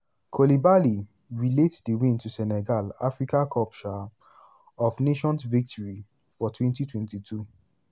koulibaly relate di win to senegal africa cup um of nations victory for 2022.